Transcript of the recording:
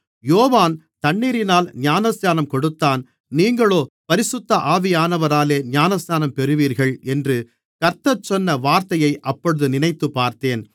யோவான் தண்ணீரினால் ஞானஸ்நானம் கொடுத்தான் நீங்களோ பரிசுத்த ஆவியானவராலே ஞானஸ்நானம் பெறுவீர்கள் என்று கர்த்தர் சொன்ன வார்த்தையை அப்பொழுது நினைத்துப்பார்த்தேன்